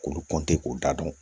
K'olu kɔnti k'u da dɔn